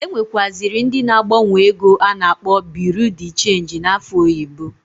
E nwekaziri ndi na agbanwo ego a na-akpọ Biru di chenji n'afa oyibo.